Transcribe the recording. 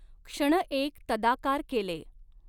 क्षणएक तदाकार केलें।